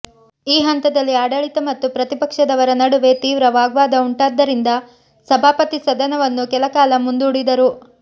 ಈ ಹಂತದಲ್ಲಿ ಆಡಳಿತ ಮತ್ತು ಪ್ರತಿಪಕ್ಷದವರ ನಡುವೆ ತೀವ್ರ ವಾಗ್ವಾದ ಉಂಟಾದ್ದರಿಂದ ಸಭಾಪತಿ ಸದನವನ್ನು ಕೆಲಕಾಲ ಮುಂದೂಡಿದರು